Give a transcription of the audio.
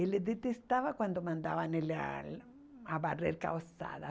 Ele detestava quando mandavam ele a varrer calçada